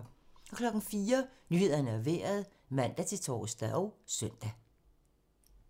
04:00: Nyhederne og Vejret (man-tor og søn)